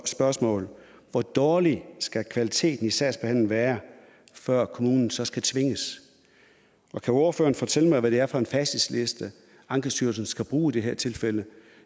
spørgsmål hvor dårlig skal kvaliteten i sagsbehandlingen være før kommunen så skal tvinges og kan ordføreren fortælle mig hvad det er for en facitliste ankestyrelsen skal bruge i det her tilfælde